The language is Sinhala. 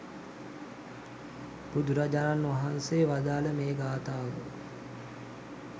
බුදුරජාණන් වහන්සේ වදාළ මේ ගාථාව